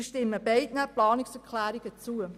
Somit stimmen wir beiden Planungserklärungen zu.